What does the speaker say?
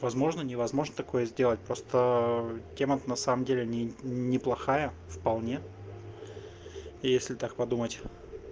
возможно невозможно такое сделать просто тема то на самом деле неплохая вполне если так подумать